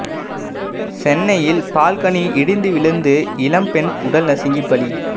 சென்னையில் பால்கனி இடிந்து விழுந்து இளம் பெண் உடல் நசுங்கி பலி